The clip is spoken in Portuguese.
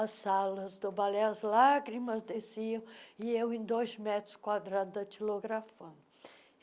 As salas do balé, as lágrimas desciam, e eu em dois metros quadrados, datilografando.